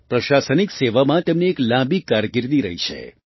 પ્રશાસનિક સેવામાં તેમની એક લાંબી કારકિર્દી રહી છે